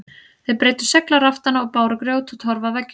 Þeir breiddu segl á raftana og báru grjót og torf að veggjum.